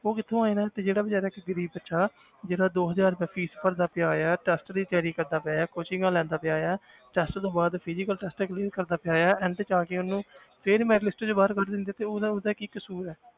ਉਹ ਕਿੱਥੋਂ ਆਏ ਨੇ ਤੇ ਜਿਹੜਾ ਬੇਚਾਰਾ ਇੱਕ ਗ਼ਰੀਬ ਬੱਚਾ ਹੈ ਜਿਹੜਾ ਦੋ ਹਜ਼ਾਰ ਰੁਪਇਆ fees ਭਰਦਾ ਪਿਆ ਹੈ test ਦੀ ਤਿਆਰੀ ਕਰਦਾ ਪਿਆ ਹੈ ਕੋਚਿੰਗਾਂ ਲੈਂਦਾ ਪਿਆ ਹੈ test ਤੋਂ ਬਾਅਦ physical test clear ਕਰਦਾ ਪਿਆ ਹੈ end 'ਚ ਆ ਕੇ ਉਹਨੂੰ ਫਿਰ merit list ਚੋਂ ਬਾਹਰ ਕੱਢ ਦਿੰਦੇ ਆ ਤੇ ਉਹਦਾ ਉਹਦਾ ਕੀ ਕਸ਼ੂਰ ਹੈ